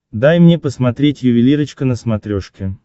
дай мне посмотреть ювелирочка на смотрешке